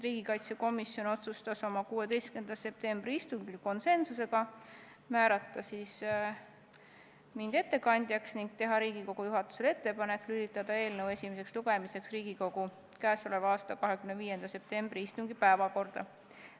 Riigikaitsekomisjon otsustas oma 16. septembri istungil konsensusega määrata mind ettekandjaks ning teha Riigikogu juhatusele ettepaneku lülitada eelnõu esimeseks lugemiseks Riigikogu k.a 25. septembri istungi päevakorda.